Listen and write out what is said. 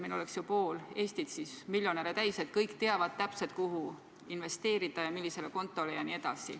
Meil oleks siis ju pool Eestit miljonäre täis, kui kõik teaksid täpselt, kuhu investeerida, millisele kontole jne.